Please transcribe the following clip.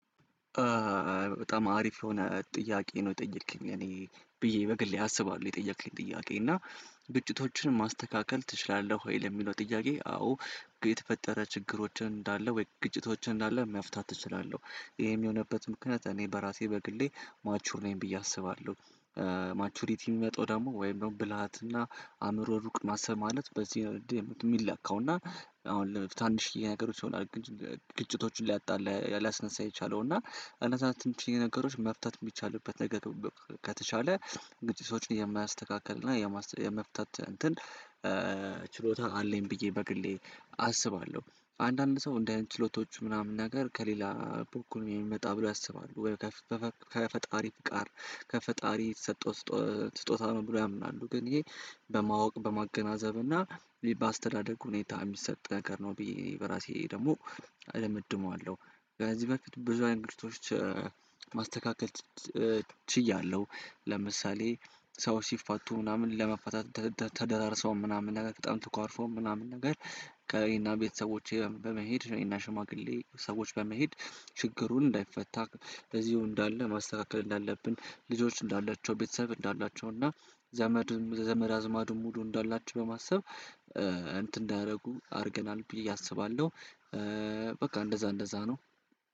በጣም አሪፍ የሆነ ጥያቄ ነው የጠየከኝ እኔ ብዬ በግሌ አስባለሁ የጠየከኝ ጥያቄ እና ግጭቶችን ማስተካከል ትችላለህ ወይ? ለሚለው ጥያቄ አዎ የተፈጠረ ችግሮችን እንዳለ ወይ ግጭቶችን እንዳለ መፍታት እችላለሁ። ይሄም የሆነበት ምክንያት እኔ በራሴ በግሌ ማቹር ነኝ ብዬ አስባለሁ። ማቹሪቲ ሚመጣው ደግሞ ወይም ደግሞ ብልሃትና አእምሮ ሩቅ ማሰብ ማለት በዚህ ሚለካውና እና አሁን ለመፍታት ትናንሽ ነገሮች ይሆናል ግጭቶቹን ሊያጣ ሊያስነሳ የቻለው እና እነዛ ትንሽ ነገሮች መፍታት ሚቻልበት ነገር ከተቻለ ግጭቶችን የማያስተካክልና የመፍታት እንትን ችሎታ አለኝ ብዬ በግሌ አስባለሁ። አንዳንድ ሰው እንደ አይነት ችሎታዎቹ ምናምን ነገር ከሌላ በኩል ነው የሚመጣ ብሎ ያስባሉ። ከፈጣሪ ጋር ከፈጣሪ የተሰጠው ስጦታ ነው ብሎ ያምናሉ። ግን ይሄ በማወቅ በማገናዘብ እና በአስተዳደግ ሁኔታ የሚሰጥ ነገር ነው ብዬ በራሴ ደግሞ እደመድመዋለሁ። ከዚህ በፊት ብዙ አይነት ግጭቶች ማስተካከል ችያለሁ። ለምሳሌ ሰዎች ሲፋቱ ምናምን ለመፋታት ተደራርሰው ምናምን ነገር በጣም ተኳርፈው ምናምን ነገር ከእኔ እና ቤተሰቦቼ ጋ በመሄድ እኔ እና ሽማግሌ ሰዎች በመሄድ ችግሩ እንዳይፈታ በዚሁ እንዳለ ማስተካከል እንዳለብን ልጆች እንዳላቸው ቤተሰብ እንዳላቸው እና ዘመድም ዘመድ አዝማዱ ሙሉ እንዳላቸው በማሰብ እንትን እንዳደረጉ አድርገናል ብዬ አስባለሁ። በቃ እንደዛ እንደዛ ነው